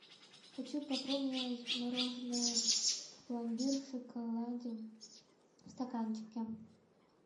хочу попробовать мороженое пломбир в шоколаде в стаканчике